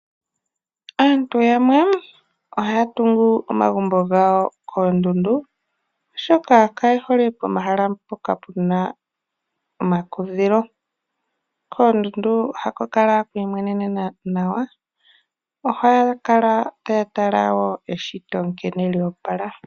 Aantu yamwe ohaya tungu amagumbo gawo koondundu. Oshoka kaye hole pomahala mpoka puna omakudhilo. Koondundu ohaku kala ku imwenenena nawa. Ohaya kala taya tala eshito nkene lyoopala.